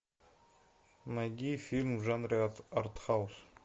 найди фильм в жанре артхаус